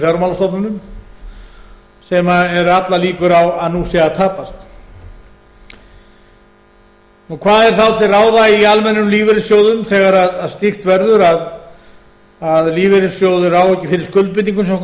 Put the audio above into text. fjármálastofnunum sem allar líkur á að nú séu að tapast og hvað er þá til ráða í almennum lífeyrissjóðum þegar slíkt verður að lífeyrissjóður á ekki fyrir skuldbindingum